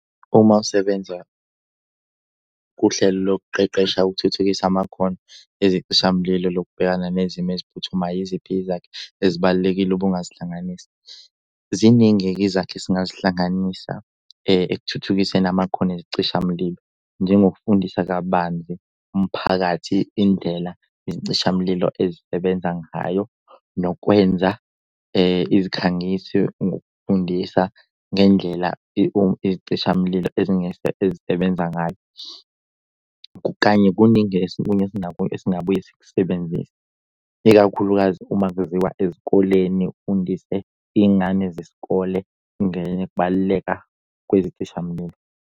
Uma usebenza kuhlelo lokuqeqesha ukuthuthukisa amakhono ezicishamlilo lokubhekana nezimo eziphuthumayo, iziphi izakhi ezibalulekile ubungasihlanganisa? Ziningi-ke izakhi esingazihlanganisa ekuthuthukiseni amakhono ezicishamlilo njengokufundisa kabanzi umphakathi indlela izicishamlilo ezisebenza ngayo, nokwenza izikhangiso ngokufundisa ngendlela izicishamlilo ezisebenza ngayo. Kanye kuningi okunye esingabuye sikusebenzisa. Ikakhulukazi uma kuziwa ezikoleni ufundise iy'ngane zesikole baluleka kwezichishamila.